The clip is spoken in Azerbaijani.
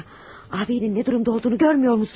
Abeyinin nə durumda olduğunu görmürsənmi?